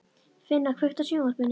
Finna, kveiktu á sjónvarpinu.